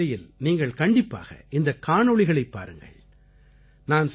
நரேந்திரமோதி செயலியில் நீங்கள் கண்டிப்பாக இந்தக் காணொளிகளைப் பாருங்கள்